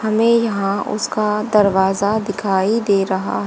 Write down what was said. हमें यहां उसका दरवाजा दिखाई दे रहा--